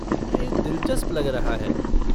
यह दिलचस्प लग रहा है।